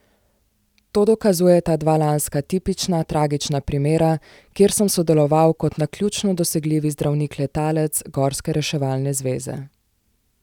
To dokazujeta dva lanska tipična, tragična primera, kjer sem sodeloval kot naključno dosegljivi zdravnik letalec gorske reševalne zveze.